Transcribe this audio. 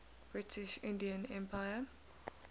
british indian empire